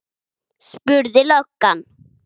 spurði löggan.